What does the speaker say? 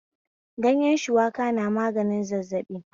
Ganyen shuwaka na maganin zazzaɓi